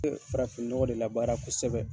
Farafin ɲɔgɔ de la baara kosɛbɛ